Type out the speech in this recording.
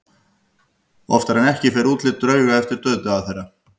Oftar en ekki fer útlit drauga eftir dauðdaga þeirra.